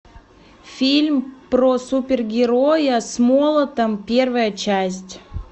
фильм про супергероя с молотом первая часть